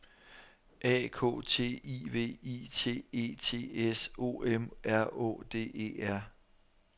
A K T I V I T E T S O M R Å D E R